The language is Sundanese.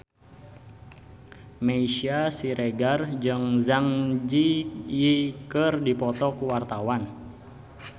Meisya Siregar jeung Zang Zi Yi keur dipoto ku wartawan